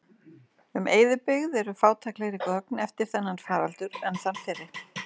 Um eyðibyggð eru fátæklegri gögn eftir þennan faraldur en þann fyrri.